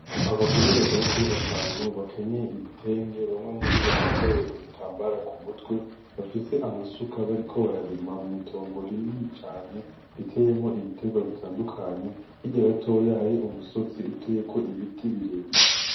Abagore bagera kuri batanu bakenyeye ibitenge bamwe muribo bambaye udutambara kumutwe bafise amasuka bariko bararima mwitongo rinini cane riteyemwo ibitegwa bitandukanye hirya gatoya hari umusozi uteyeko ibiti birebire